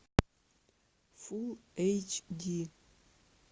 фулл эйч ди